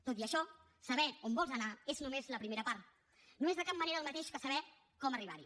tot i això saber on vols anar és només la primera part no és de cap manera el mateix que saber com arribar hi